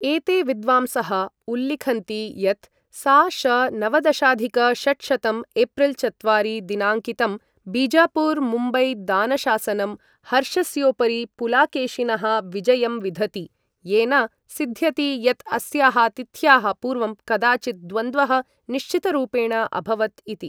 एते विद्वांसः उल्लिखन्ति यत् सा.श. नवदशाधिक षट्शतं, एप्रिल् चत्वारि दिनाङ्कितं, बीजापुर मुम्बई दानशासनं हर्षस्योपरि पुलाकेशिनः विजयम् विधति, येन सिद्ध्यति यत् अस्याः तिथ्याः पूर्वं कदाचित् द्वन्द्वः निश्चितरूपेण अभवत् इति।